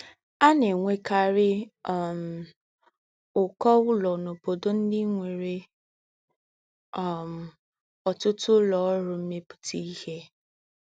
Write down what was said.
À nà-ènwékárí um úkọ́ úlọ́ n’óbódò ndí́ nwere um otutu ulo oru meputa ihe